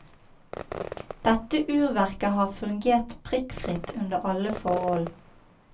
Dette urverket har funger prikkfritt under alle forhold.